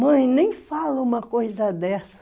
Mãe, nem fala uma coisa dessa.